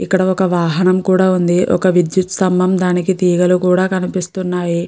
ఇక్కడ ఒక వాహనం కూడా ఉంది. ఒక విద్యుత్ స్తంభం దానికి ఈగలు కూడా కనిపిస్తున్నాయి.